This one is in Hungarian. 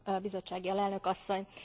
Bizottsági Alelnök Asszony!